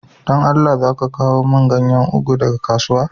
Dan Allah za ka kawo mun ganyan ugu daga kasuwa?